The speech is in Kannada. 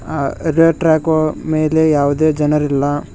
ಆ ರೈಲ್ವೆ ಟ್ರ್ಯಾಕ್ ಮೇಲೆ ಯಾವುದೇ ಜನರಿಲ್ಲ.